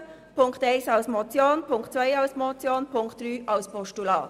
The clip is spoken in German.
Punkt 1 als Motion, Punkt 2 als Motion, Punkt 3 als Postulat.